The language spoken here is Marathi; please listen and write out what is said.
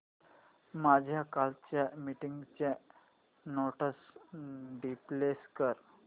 माझ्या कालच्या मीटिंगच्या नोट्स डिस्प्ले कर